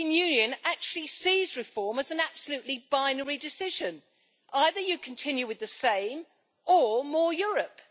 The European Union actually sees reform as an absolutely binary decision either you continue with the same, or, more Europe.